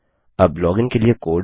अब लॉगिन के लिए कोड